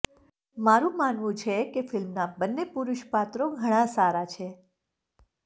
મારું માનવું છે કે ફિલ્મના બન્ને પુરુષ પાત્રો ઘણાં સારા છે